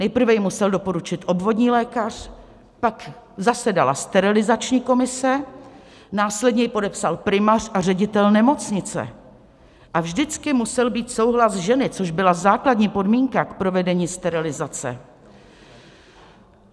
Nejprve ji musel doporučit obvodní lékař, pak zasedala sterilizační komise, následně ji podepsal primář a ředitel nemocnice a vždycky musel být souhlas ženy, což byla základní podmínka k provedení sterilizace.